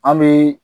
An bɛ